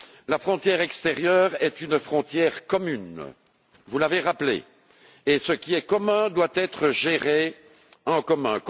La frontière extérieure est une frontière commune vous l'avez rappelé et ce qui est commun doit être géré en commun.